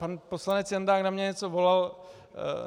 Pan poslanec Jandák na mě něco volal.